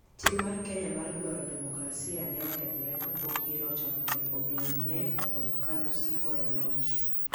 Tim mar Kenya mar dwaro demokrasi ne okethore kapok yiero ochakore, omiyo ne okonyo KANU siko e loch.